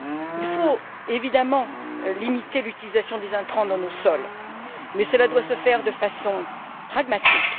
Il faut évidemment limiter l'utilisation des intrants dans nos sols, mais cela doit se faire de façon pragmatique.